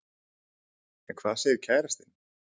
En hvað segir kærastinn?